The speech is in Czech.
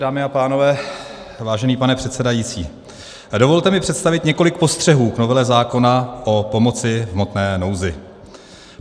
Dámy a pánové, vážený pane předsedající, dovolte mi představit několik postřehů k novele zákona o pomoci v hmotné nouzi.